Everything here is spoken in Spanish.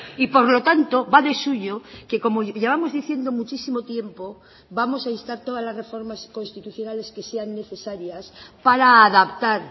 y por lo tanto va de suyo que como llevamos diciendo muchísimo tiempo vamos a instar todas las reformas constitucionales que sean necesarias para adaptar